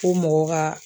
Ko mɔgɔ ka